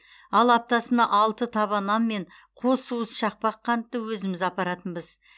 ал аптасына алты таба нан мен қос уыс шақпақ қантты өзіміз апаратынбыз